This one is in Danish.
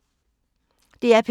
DR P2